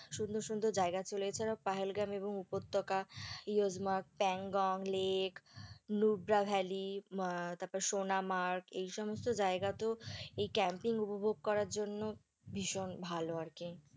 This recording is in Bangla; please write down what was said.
সুন্দর সুন্দর জায়গা ছিল, এছাড়াও পাহেলগ্রাম এবং উপত্যকা, ইয়োজমার্গ, প্যাংগং lake নুব্রা valley আহ তারপর সোনা মার্গ, এই সমস্ত জায়গাতেও এই campaign উপভোগ করার জন্য ভীষণ ভালো আর কি।